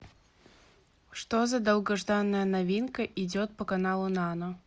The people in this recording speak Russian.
что за долгожданная новинка идет по каналу нано